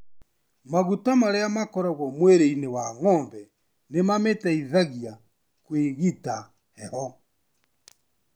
Maguta marĩa makoragwo mwiri-inĩ wa ng'ombe nĩ mamĩteithagia kwĩgita heho.